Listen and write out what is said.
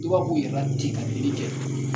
I b'a yɛrɛ ten ka kɛ